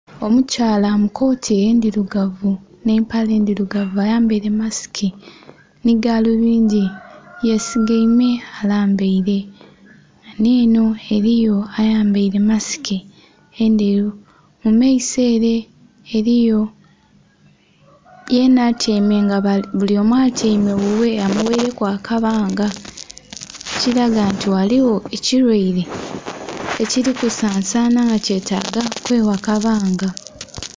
Omukyala mu kooti endhirugavu nhe empale endhirugavu ayambaire masiki nhi galubindhi hesigaime alambaire, ghanho enho ghaligho ayambaire masiki endheru mu maiso ere eriyo yenha atyaime nga bulyomu atyaime ghughe amughaireku akabaanga ekilaga nti ghaligho ekilyaire ekili kusansana nga kyetaga kwe gha kabanga.